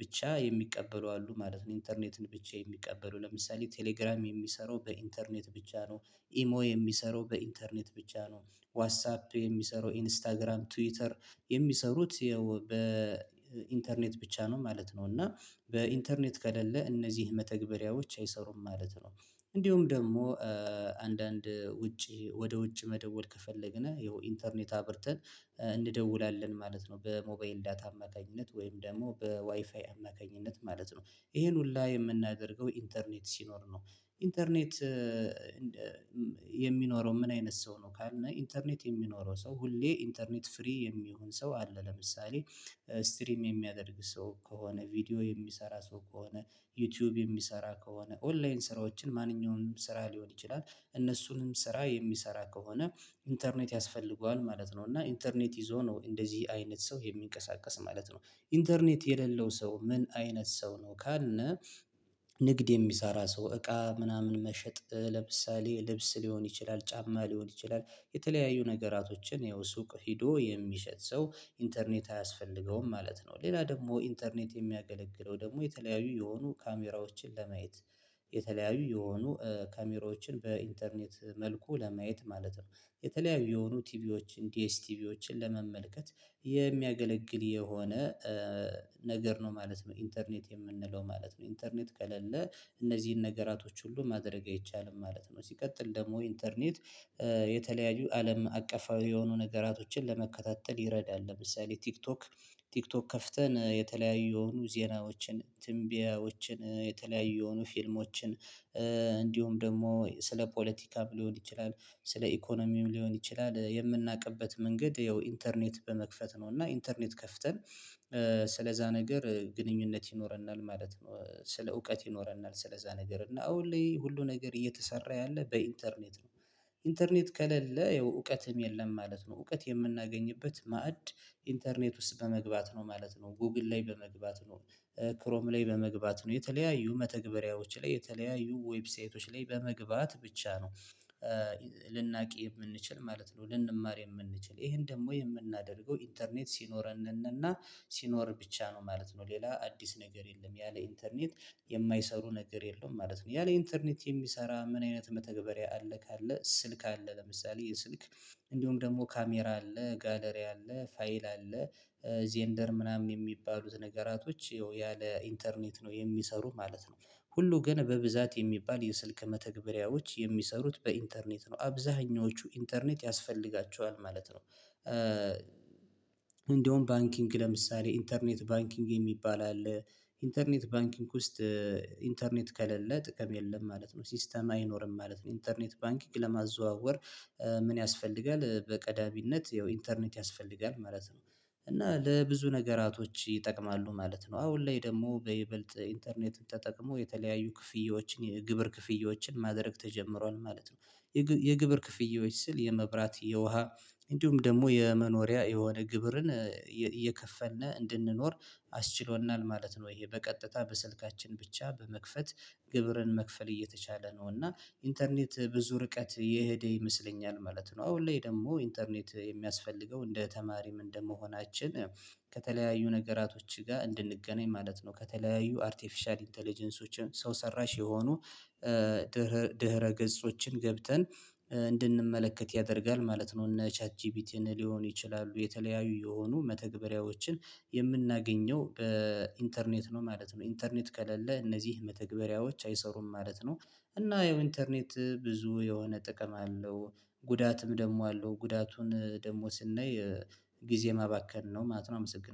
ብቻ የሚቀበሉ አሉ ማለት ነው። ኢንተርኔትን ብቻ የሚቀበሉ ለምሳሌ ቴሌግራም የሚሰሩ በኢንተርኔት ብቻ ነው። ኢሞ የሚሰሩ በኢንተርኔት ብቻ ነው። ዋትሳፕ የሚሰራው ኢንስታግራም ትዊተር የሚሰሩት በኢንተርኔት ብቻ ነው ማለት ነው። እና በኢንተርኔት ከሌለ እነዚህ መተግበሪያዎች አይሰሩም ማለት ነው። እንዲሁም ደግሞ አንዳንድ ውጪ ወደ ውጪ መደወል ከፈለግን ይሄው ኢንተርኔት አብርተን እንደውላለን ማለት ነው። በሞባይል ዳታ አማካኝነት ወይም ደግሞ በዋይፋይ አማካኝነት ማለት ነው። ይሄን ሁሉ የምናደርገው ኢንተርኔት ሲኖር ነው። ኢንተርኔት የሚኖረው ምን አይነት ሰው ነው? ካልን ኢንተርኔት የሚኖረው ሰው ሁሌ ኢንተርኔት ፍሪ የሚሆን ሰው አለ። ለምሳሌ ስትሪም የሚያደርግ ሰው ከሆነ ቪዲዮ የሚሰራ ሰው ከሆነ ዩቲዩብ የሚሰራ ከሆነ ኦንላይን ስራዎችን ማንኛውንም ስራ ሊሆን ይችላል እነሱንም ስራ የሚሰራ ከሆነ ኢንተርኔት ያስፈልገዋል ማለት ነው። እና ኢንተርኔት ይዞ ነው እንደዚህ አይነት ሰው የሚንቀሳቀስ ማለት ነው። ኢንተርኔት የሌለው ሰው ምን አይነት ሰው ነው? ካልነ ንግድ የሚሰራ ሰው እቃ ምናምን መሸጥ ለምሳሌ ልብስ ሊሆን ይችላል ጫማ ሊሆን ይችላል የተለያዩ ነገራቶችን ይኸው ሱቅ ሄዶ የሚሸጥ ሰው ኢንተርኔት አያስፈልገውም ማለት ነው። ሌላ ደግሞ ኢንተርኔት የሚያገለግለው ደግሞ የተለያዩ የሆኑ ካሜራዎችን ለማየት የተለያዩ የሆኑ ካሜራዎችን በኢንተርኔት መልኩ ለማየት ማለት ነው። የተለያዩ የሆኑ ቲቪዎችን ዲኤስ ቲቪዎችን ለመመልከት የሚያገለግል የሆነ ነገር ነው ማለት ነው። ኢንተርኔት የምንለው ማለት ነው ኢንተርኔት ከሌለ እነዚህን ነገራቶች ሁሉ ማድረግ አይቻልም ማለት ነው። ሲቀጥል ደግሞ ኢንተርኔት የተለያዩ አለም አቀፋዊ የሆኑ ነገራቶችን ለመከታተል ይረዳል። ለምሳሌ ቲክቶክ ቲክቶክ ከፍተን የተለያዩ ዜናዎችን ትንቢያዎችን የተለያዩ የሆኑ ፊልሞችን እንዲሁም ደግሞ ስለ ፖለቲካም ሊሆን ይችላል ስለ ኢኮኖሚም ሊሆን ይችላል የምናውቅበት መንገድ ያው ኢንተርኔት በመክፈት ነው። እና ኢንተርኔት ከፍተን ስለዛ ነገር ግንኙነት ይኖረናል ማለት ነው። ስለ እውቀት ይኖረናል ስለዛ ነገር እና አዎ ሁሌ ሁሉ ነገር እየተሰራ ያለ በኢንተርኔት ነው። ኢንተርኔት ከሌለ እውቀትም የለም ማለት ነው። እውቀት የምናገኝበት ማዕድ ኢንተርኔት ውስጥ በመግባት ነው ማለት ነው። ጎግል ላይ በመግባት ነው። ክሮም ላይ በመግባት ነው የተለያዩ መተግበሪያዎች ላይ የተለያዩ ዌብሳይቶች ላይ በመግባት ብቻ ነው። ልናቅ የምንችል ማለት ነው። ልንማር የምንችል ይሄን ደግሞ የምናደርገው ኢንተርኔት ሲኖረን እና ሲኖር ብቻ ነው ማለት ነው። ሌላ አዲስ ነገር የለም ያለ ኢንተርኔት የማይሰሩ ነገር የለውም ማለት ነው። ያለ ኢንተርኔት የሚሰራ ምን አይነት መተግበሪያ አለ? ካለ ስልክ አለ ለምሳሌ ይሄ ስልክ እንዲሁም ደግሞ ካሜራ አለ ጋለሪ አለ ፋይል አለ ዜንደር ምናምን የሚባሉት ነገራቶች ያለ ኢንተርኔት ነው የሚሰሩ ማለት ነው። ሁሉ ግን በብዛት የሚባል የስልክ መተግበሪያዎች የሚሰሩት በኢንተርኔት ነው አብዛኛዎቹ ኢንተርኔት ያስፈልጋቸዋል ማለት ነው። እንደውም ባንኪንግ ለምሳሌ ኢንተርኔት ባንኪንግ የሚባል አለ። ኢንተርኔት ባንኪንግ ውስጥ ኢንተርኔት ከሌለ ጥቅም የለም ማለት ነው። ሲስተም አይኖርም ማለት ነው። ኢንተርኔት ባንኪንግ ለማዘዋወር ምን ያስፈልጋል? በቀዳሚነት ያው ኢንተርኔት ያስፈልጋል ማለት ነው። እና ለብዙ ነገራቶች ይጠቅማሉ ማለት ነው። አሁን ላይ ደግሞ በይበልጥ ኢንተርኔት ተጠቅሞ የተለያዩ ክፍያዎችን የግብር ክፍያዎችን ማድረግ ተጀምሯል ማለት ነው። የግብር ክፍያዎች ስል የመብራት የውሃ እንዲሁም ደግሞ የመኖሪያ የሆነ ግብርን እየከፈልን እንድንኖር አስችሎናል ማለት ነው። ወይ በቀጥታ በስልካችን ብቻ በመክፈት ግብርን መክፈል እየተቻለ ነው። እና ኢንተርኔት ብዙ ርቀት የሄደ ይመስለኛል ማለት ነው። አሁን ላይ ደግሞ ኢንተርኔት የሚያስፈልገው እንደ ተማሪም እንደመሆናችን ከተለያዩ ነገራቶች ጋር እንድንገናኝ ማለት ነው። ከተለያዩ አርቲፊሻል ኢንተለጀንሶችን ሰው ሰራሽ የሆኑ ድህረ ድህረ ገጾችን ገብተን እንድንመለከት ያደርጋል ማለት ነው። እነ ቻት ጂፒቲን ሊሆን ይችላሉ የተለያዩ የሆኑ መተግበሪያዎችን የምናገኘው በኢንተርኔት ነው ማለት ነው። ኢንተርኔት ከሌለ እነዚህ መተግበሪያዎች አይሰሩም ማለት ነው። እና ኢንተርኔት ብዙ የሆነ ጥቅም አለው። ጉዳትም ደግሞ አለው። ጉዳቱን ደግሞ ስናይ ጊዜ ማባከን ነው ማለት ነው። አመሰግናለሁ